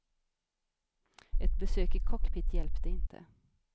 Ett besök i cockpit hjälpte inte.